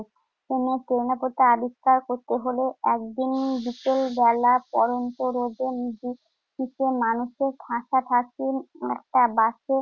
কোনো আবিষ্কার করতে হলে একদিন বিকেলবেলা পড়ন্ত রোদের নিচে মানুষে ঠাসাঠাসি একটা বাসে